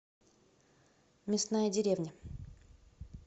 мясная деревня